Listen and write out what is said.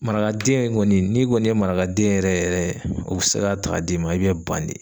Marakaden kɔni n'i kɔni ye marakaden yɛrɛ yɛrɛ o bɛ se k'a ta ka d'i ma i bɛ ban de.